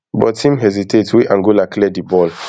but im hesitate wey angola clear di ball